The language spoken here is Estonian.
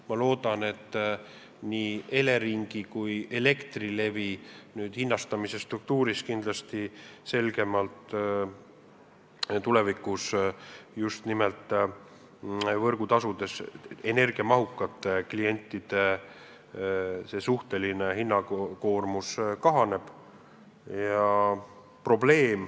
Ma loodan, et nii Elering kui Elektrilevi otsustavad hinnastamispoliitikas tulevikus just nimelt energiamahuka tootmisega klientide võrgutasusid vähendada.